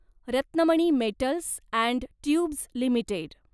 Ratnamani metals and tubes limited